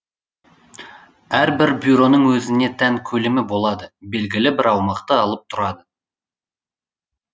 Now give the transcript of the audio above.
әрбір бюроның өзіне тән көлемі болады белгілі бір аумақты алып тұрады